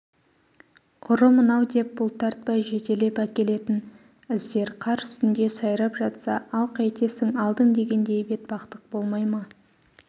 ұры мынау деп бұлтартпай жетелеп әкелетін іздер қар үстінде сайрап жатса ал қайтесің алдым дегендей бетбақтық болмай ма